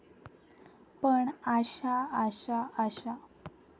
पण आशा आशा आशा.